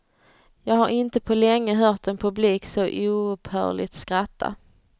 Jag har inte på länge hört en publik så oupphörligt skratta.